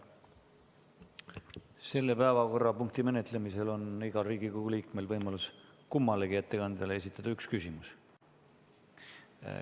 Selle päevakorrapunkti menetlemisel on igal Riigikogu liikmel võimalus kummalegi ettekandjale esitada üks küsimus.